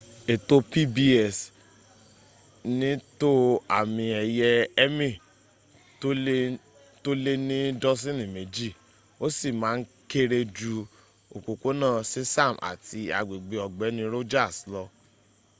ètò pbs ní tó àmì ẹ̀yẹ emmy tó lé ní dọ́sìnì méjì ó sì ma ń kéré jú òpópónà sesame àti agbègbè ọ̀gbẹ́ni rogers lọ